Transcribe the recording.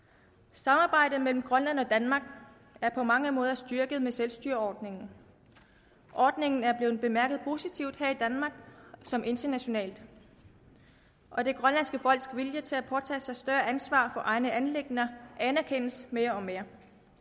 samarbejdet mellem grønland og danmark er på mange måder styrket med selvstyreordningen ordningen er blevet bemærket positivt her i danmark samt internationalt og det grønlandske folks vilje til at påtage sig større ansvar for egne anliggender anerkendes mere og mere